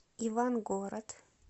ивангород